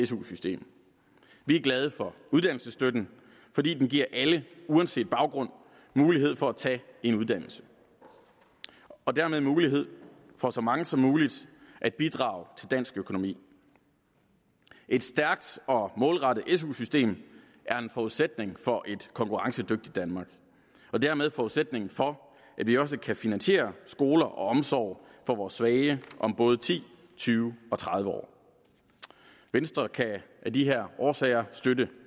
su system vi er glade for uddannelsesstøtten fordi den giver alle uanset baggrund mulighed for at tage en uddannelse og dermed også mulighed for at så mange som muligt kan bidrage til dansk økonomi et stærkt og målrettet su system er en forudsætning for et konkurrencedygtigt danmark og dermed forudsætningen for at vi også kan finansiere skoler og omsorg for vores svage om både ti tyve og tredive år venstre kan af de her årsager støtte